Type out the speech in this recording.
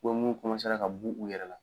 Ko mun ka b'u yɛrɛ la.